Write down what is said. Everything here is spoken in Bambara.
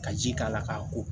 Ka ji k'a la k'a ko